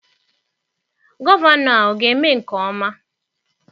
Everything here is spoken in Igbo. Gọvanọ a ọ ga-eme nke ọma?